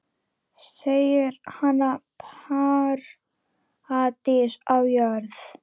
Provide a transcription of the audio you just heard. Segir hana paradís á jörð.